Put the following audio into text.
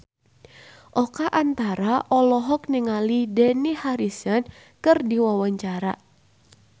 Oka Antara olohok ningali Dani Harrison keur diwawancara